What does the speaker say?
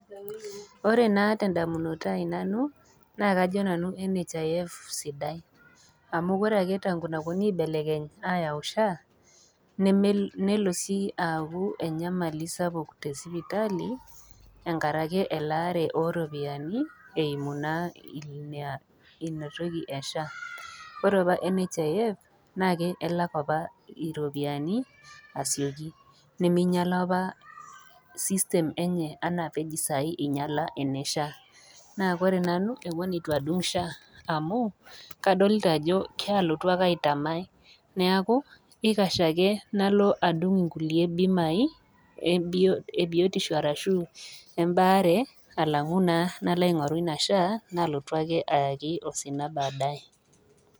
Ore naa tendamunoto ai nanu, na kajo nanu NHIF sidai. Amu ore ake tangu [ca] naponui aibelekeny ayau SHA, nelo si aku enyamali sapuk tesipitali, enkaraki elaare oropiyiani, eimu naa ina inatoki e SHA. Ore apa NHIF, naake elak apa iropiyiani, asioki. Niminyala apa system enye enaa pej sai inyala ene SHA. Naa ore nanu amu eton itu adung' SHA amu, kadolta ajo kalotu ake aitamai. Neeku, ikash ake nalo adung' inkulie bimai ebiotisho arashu embaare, alang'u naa nalo aing'oru ina SHA, nalotu ake ayaki osina badaye.